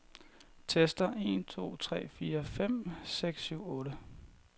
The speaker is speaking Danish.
Tester en to tre fire fem seks syv otte.